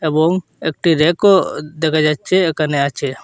এবং একটি ব়্যাকও দেখা যাচ্ছে এখানে আছে।